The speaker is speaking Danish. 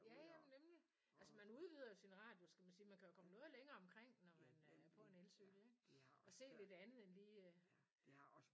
Ja ja nemlig altså man udvider jo sin radius kan man sige man kan jo komme noget længere omkring når man på en elcykel ikke og se lidt andet end lige